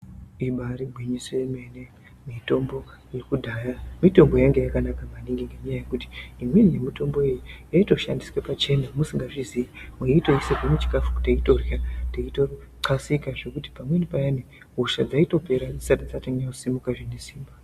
Ibaari gwinyiso yemene mitombo yekudhaya mitombo yainge yakanaka maningi ngenyaya yekuti imweni yemitombo iyi yaitoshandiswe pachena musingazvizii meitoiisirwe muchikafu teitorya teitoxaseka nekuti pamweni payani hosha dzaitopera dzisati dzanyanya kusimuka zvine simba.